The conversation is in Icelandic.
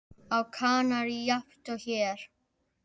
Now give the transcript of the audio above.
Á Kanarí jafnt og hér.